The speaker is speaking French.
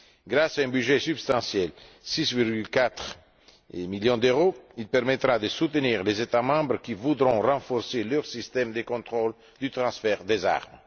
Grâce à un budget substantiel 6,4 millions d'euros il permettra de soutenir les États membres qui voudront renforcer leur système de contrôle du transfert des armes.